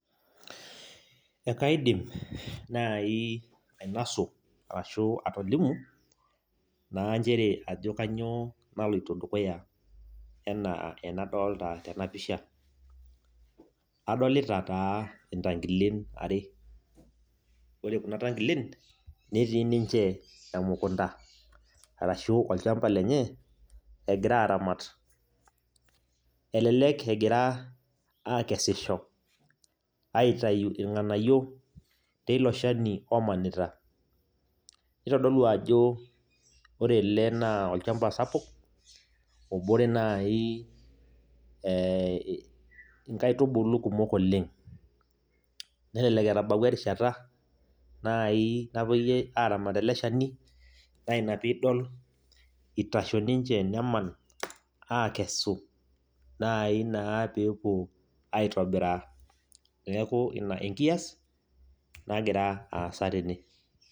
Ekaidim nai ainasu arashu atolimu naa njere ajo kanyioo naloito dukuya enaa enadolta tenapisha. Adolita taa intankilen are. Ore kuna tankilen, netii ninche emukunda, arashu olchamba lenye, egira aramat. Elelek egira akesisho, aitayu irng'anayio teilo shani omanita. Nitodolu ajo ore ele naa olchamba sapuk, obore nai inkaitubulu kumok oleng. Nelelek etabaua erishata nai napoi aramat ele shani, na ina pidol itasho ninche, neman akesu nai naa pepuo aitobiraa. Neeku ina enkias, nagira aasa tene.